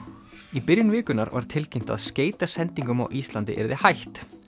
í byrjun vikunnar var tilkynnt að skeytasendingum á Íslandi yrði hætt